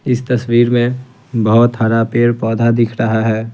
इस तस्वीर में बहुत हरा पेड़ पौधा दिख रहा है।